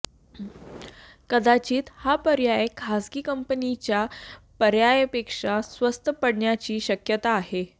कदाचित हा पर्याय खासगी कंपनीच्या पर्यायापेक्षा स्वस्त पडण्याची शक्यता आहे